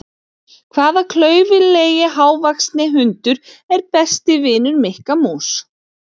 Hvaða klaufalegi hávaxni hundur er besti vinur Mikka mús?